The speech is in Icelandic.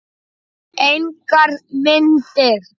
Engar myndir.